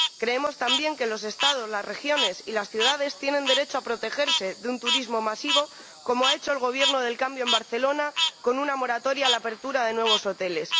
Creemos también que los Estados, las regiones y las ciudades tienen derecho a protegerse de un turismo masivo, como ha hecho el Gobierno del cambio en Barcelona con una moratoria a la apertura de nuevos hoteles.